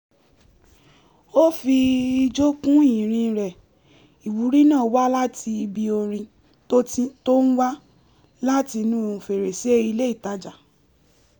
ó fi ijó kún ìrìn rẹ̀ ìwúrí náà wá láti ibi orin tó ń wá láti inú fèrèsé ilé ìtajà